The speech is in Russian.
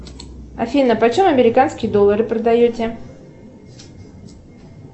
афина почем американские доллары продаете